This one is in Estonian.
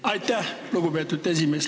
Aitäh, lugupeetud esimees!